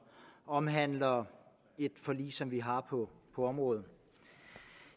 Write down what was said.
omhandler et forlig som vi har på området